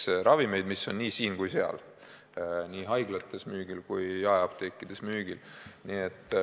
Need on ravimid, mis on olemas nii siin kui ka seal, nii haiglates kui ka jaeapteekides müügil.